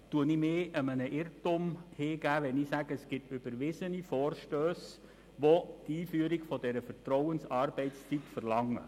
Unterliege ich einem Irrtum, wenn ich behaupte, es gebe überwiesene Vorstösse, die die Einführung der Vertrauensarbeitszeit verlangen?